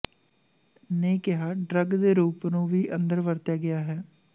ਨੇ ਕਿਹਾ ਡਰੱਗ ਦੇ ਰੂਪ ਨੂੰ ਵੀ ਅੰਦਰ ਵਰਤਿਆ ਗਿਆ ਹੈ